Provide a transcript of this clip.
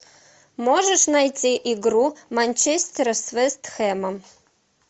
можешь найти игру манчестера с вест хэмом